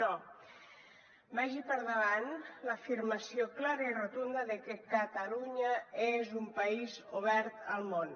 però vagi per davant l’afirmació clara i rotunda de que catalunya és un país obert al món